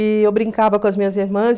E eu brincava com as minhas irmãs.